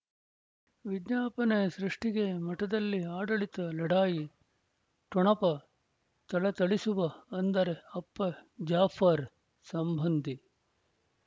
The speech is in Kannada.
ವಿಜ್ಞಾಪನೆ ಸೃಷ್ಟಿಗೆ ಮಠದಲ್ಲಿ ಆಡಳಿತ ಲಢಾಯಿ ಠೊಣಪ ಥಳಥಳಿಸುವ ಅಂದರೆ ಅಪ್ಪ ಜಾಫರ್ ಸಂಬಂಧಿ